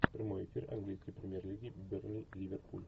прямой эфир английской премьер лиги бернли ливерпуль